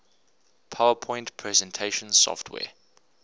powerpoint presentation software